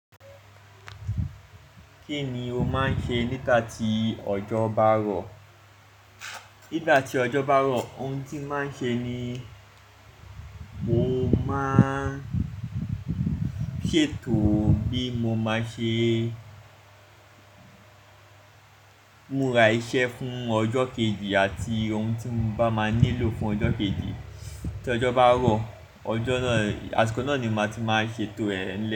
Kí ni o máa ń ṣe nígbà tí ọjọ́ bá rọ̀? Nígbà tí ọjọ́ bá rọ̀, ohun tí màá ń ṣe ni mo máa ṣètò bí mo máa ṣe múra iṣẹ́ fún ọjọ́ kejì àti ohun tí mo bá máa nílò fún ọjọ́ kejì. Tí ọjọ́ bá rọ̀, ọjọ́ náà, àsìkò náà ni màá ti máa ṣètò ẹ̀ lẹ́ẹ̀.